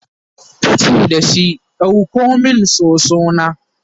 tace dashi "ɗauko min soso na!"